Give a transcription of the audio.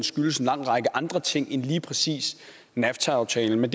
skyldes en lang række andre ting end lige præcis nafta aftalen